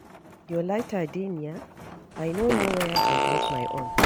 Your lighter dey near, I no know where I drop my own